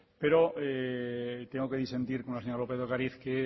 pero tengo que disentir con la señora lópez de ocariz que